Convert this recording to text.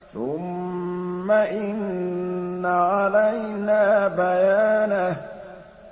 ثُمَّ إِنَّ عَلَيْنَا بَيَانَهُ